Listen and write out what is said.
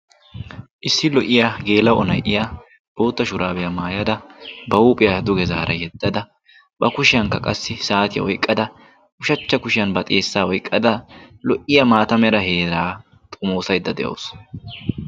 issi lo77iya geela onai7iya bootta shuraabiyaa maayada ba huuphiyaa duge zaara yeddada ba kushiyankka qassi saatiya woiqqada ushachcha kushiyan ba xeessaa oiqqada lo77iya maata mera heeraa xomoosaidda de7awusu.